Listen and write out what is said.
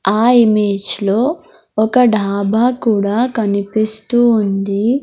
ఆ ఇమేజ్ లో ఒక డాబా కూడా కనిపిస్తూ ఉంది.